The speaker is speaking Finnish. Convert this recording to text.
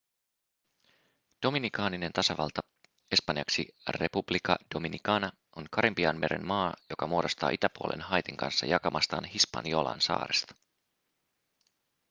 dominikaaninen tasavalta espanjaksi república dominicana on karibianmeren maa joka muodostaa itäpuolen haitin kanssa jakamastaan hispaniolan saaresta